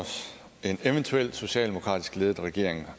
en eventuel socialdemokratisk ledet regering